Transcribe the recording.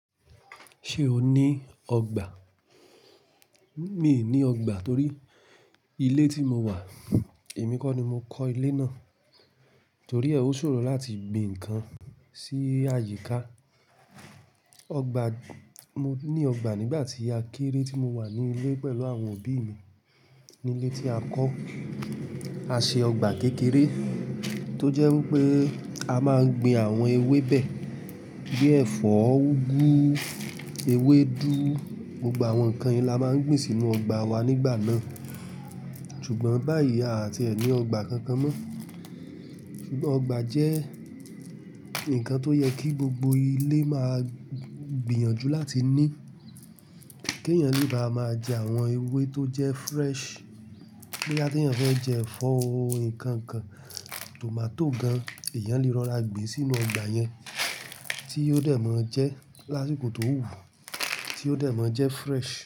Ṣé o ní ọgbà? Mi i ní ọgbà torí ilé tí mo wà, èmi kọ́ ni mo kọ́ ilé náà. Torí ẹ ó ṣòro láti gbin ǹkan sí àyíká. Ọgbà, mo ní ọgbà nígbà tí a kéré tí mo wà ní ilé pẹ̀lú àwọn òbí mi. Nílé tí a kọ́, a ṣe ọgbà kékeré tó jẹ́ wipé a máa ń gbin àwọn ewébẹ̀ bí ẹ̀fọ́, úgú, ewédú. Gbogbo àwọn ǹkan yìí la máa ń gbìn sínú ọgbà wa nígbà náà. Ṣùgbọ́n báyìí a à tiẹ̀ ní ọgbà kankan mọ́. Ṣùgbọ́n ọgbà jẹ́ ǹkan tó yẹ kí gbogbo ilé máa gbìyànjú láti ní. Kèeyàn le bá máa jẹ àwọn ewé tó jẹ́ fresh. Boya teeyan fẹ́ jẹ ẹ̀fọ́ o nǹkan kan, tòmátò gan, èèyàn lè rọra gbin sínú ọgbà yẹn tí yóò de máa jẹ́ lásìkò tó wù u, tí yóò de máa jẹ́ fresh.